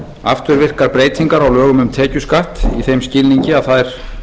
afturvirkar breytingar á lögum um tekjuskatt í þeim skilningi að þær